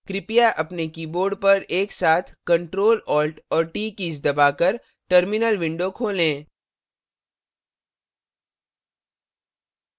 कृपया अपने keyboard पर एक साथ ctrl alt और t कीज दबाकर terminal window खोलें